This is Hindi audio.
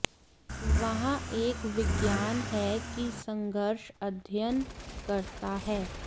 वहाँ एक विज्ञान है कि संघर्ष अध्ययन करता है